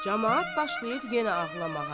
Camaat başlayır yenə ağlamağa.